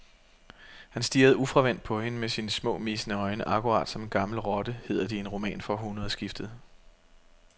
Han stirrede ufravendt på hende med sine små, missende øjne, akkurat som en gammel rotte, hedder det i en roman fra århundredskiftet.